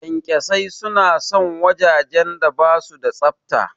Ƙyanƙyasai suna son wajajen da basu da tsafta.